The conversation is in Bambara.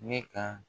Ne ka